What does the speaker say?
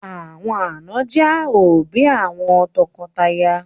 Àwọn àna je òbí àwọn tọkọtaya